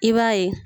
I b'a ye